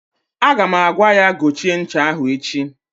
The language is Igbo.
Aga m agwa ya gochie ncha ahụ echi!